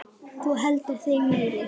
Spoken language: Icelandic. Þú heldur þig meiri.